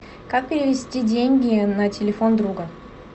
как перевести деньги на телефон друга